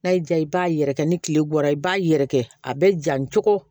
N'a y'i diya i b'a yɛrɛkɛ ni tile bɔra i b'a yɛrɛkɛ a bɛ ja cogo